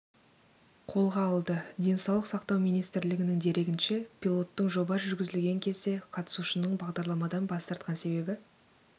қолға алды денсаулық сақтау министрлігінің дерегінше пилоттың жоба жүргізілген кезде қатысушының бағдарламадан бас тартқан себебі